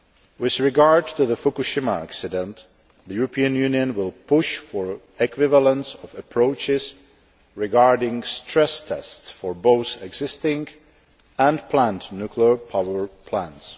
With regard to the Fukushima accident, the European Union will push for equivalence of approaches regarding stress tests for both existing and planned nuclear power plants.